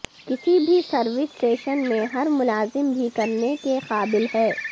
کسی بھی service station میں ہر ملازم بھی کرنے کے قابل ہے